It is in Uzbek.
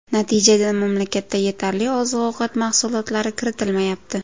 Natijada mamlakatda yetarli oziq-ovqat mahsulotlari kiritilmayapti.